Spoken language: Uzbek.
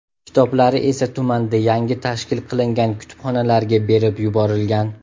Kitoblari esa tumanda yangi tashkil qilingan kutubxonalarga berib yuborilgan.